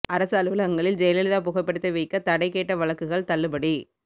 அரசு அலுவலகங்களில் ஜெயலலிதா புகைப்படத்தை வைக்க தடை கேட்ட வழக்குகள் தள்ளுபடி